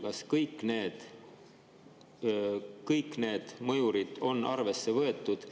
Kas kõik need mõjurid on arvesse võetud